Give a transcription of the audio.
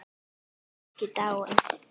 Hann er ekki dáinn.